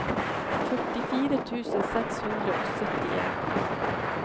førtifire tusen seks hundre og syttien